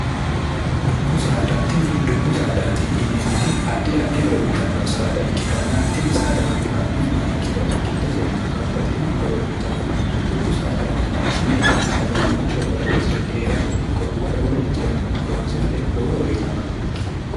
dubbu saada tini dubbu saadaate yineemmoti addi addi horo uyitanno saada ikkitanna tini saadano la'nummaa ikkiro giddose babbaxino horo uyitanno dubbu saada manchi beetti sagalimmate horoonsi're hee'rate ikko wole wolarichi'rano horoonsi'rate lowo horo uyitannote